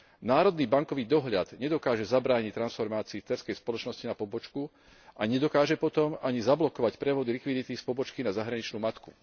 Národný bankový dohľad nedokáže zabrániť transformácii dcérskej spoločnosti na pobočku a nedokáže potom ani zablokovať prevody likvidity z pobočky na zahraničnú matku.